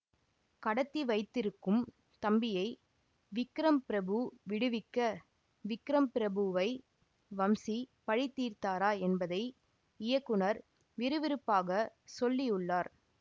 கடத்தி வைத்திருக்கும் தம்பியை விக்ரம் பிரபு விடுவிக்க விக்ரம் பிரபுவை வம்சி பழிதீர்த்தாரா என்பதை இயக்குநர் விறுவிறுப்பாக சொல்லியுள்ளார்